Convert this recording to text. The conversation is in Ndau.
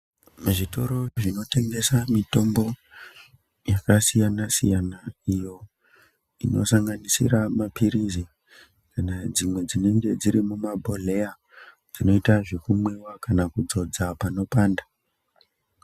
Mizvitoro zvinotengesa mitombo yakasiyana siyana iyo inosanganisira mapirizi kana dzimwe dzinenge dziri mumabhodhleya, dzinoita zvekumwiwa kana kudzodza panopanda.